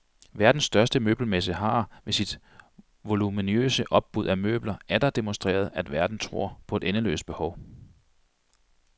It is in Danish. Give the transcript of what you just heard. Verden største møbelmesse har, ved sit voluminøse opbud af møbler, atter demonstreret, at verden tror på et endeløst behov.